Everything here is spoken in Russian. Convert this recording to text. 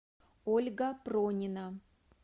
ольга пронина